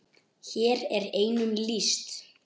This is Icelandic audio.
Hér er einum lýst.